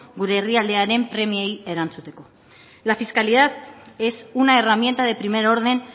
gure herrialdearen premiei erantzuteko la fiscalidad es una herramienta de primer orden